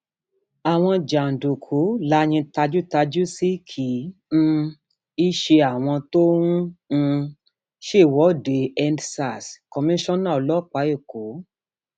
àwọn jàǹdùkú la yín tajútàjú sí kì um í ṣe àwọn tó ń um ṣèwọdeendsarskoniṣánà ọlọpàá èkó